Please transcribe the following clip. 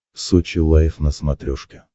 сочи лайв на смотрешке